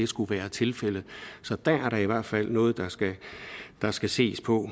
skulle være tilfældet så der er da i hvert fald noget der skal der skal ses på i